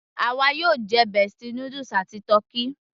àwa yóò jẹ bestie noodles àti tọ́kì